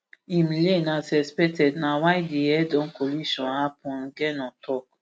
im lane as expected na why di headon collision happun ngeno tok